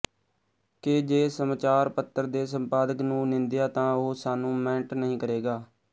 ਕਿ ਜੇ ਸਮਚਾਰ ਪੱਤਰ ਦੇ ਸੰਪਾਦਕ ਨੂੰ ਨਿੰਦਿਆ ਤਾਂ ਉਹ ਸਾਨੂੰ ਮੈਂਟ ਨਹੀਂ ਕਰੇਗਾ